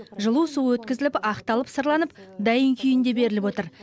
жылу суы өткізіліп ақталып сырланып дайын күйінде беріліп отыр